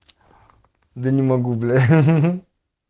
да не могу бля гы-гы-гы